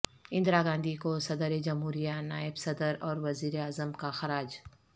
اندرا گاندھی کو صدر جمہوریہ نائب صدر اور وزیر اعظم کا خراج